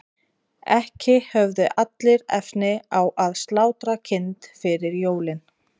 ekki höfðu allir efni á að slátra kind fyrir jólin